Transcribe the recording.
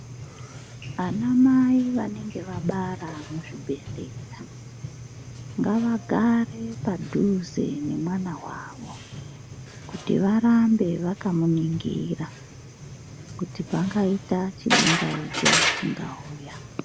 Ana mai vane ge vabara muzvibhedhlera ngavagare padhuze nemwana wavo kuti varambe vakamuningira kuti pangaita chibingaidzo chingauya.